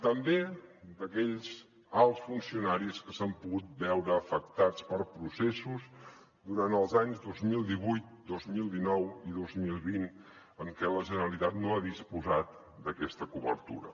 també d’aquells alts funcionaris que s’han pogut veure afectats per processos durant els anys dos mil divuit dos mil dinou i dos mil vint en què la generalitat no ha disposat d’aquesta cobertura